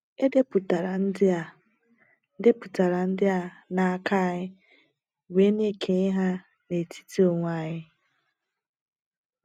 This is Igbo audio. E depụtara ndị a depụtara ndị a n’aka, anyị wee na-ekenye ha n’etiti onwe anyị.